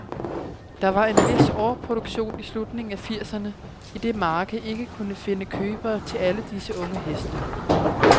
Der var en vis overproduktion i slutningen af firserne, idet markedet ikke kunne finde købere til alle disse unge heste.